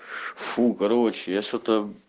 фу короче я что-то